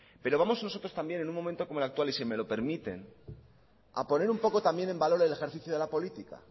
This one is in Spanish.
pero vamos nosotros también en un momento como el actual y si me lo permiten a poner un poco también en valor el ejercicio de la política